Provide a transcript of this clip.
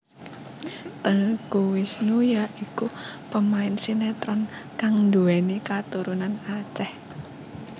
Teuku Wisnu ya iku pemain sinetron kang duwéni katurunan Aceh